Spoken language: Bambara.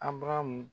Abaramu